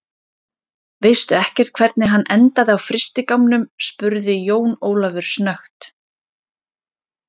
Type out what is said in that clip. Veistu ekkert hvernig hann endaði á frystigámnum, spurði Jón Ólafur snöggt.